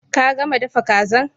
Ka gama dafa kazan?